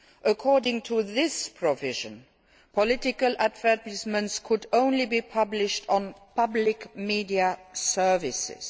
According to this provision, political advertisements may only be published on public media services.